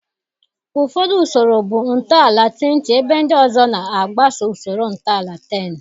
Ụfọdụ usoro bụ ntọala-20, ebe ndị ọzọ na-agbaso usoro ntọala-10.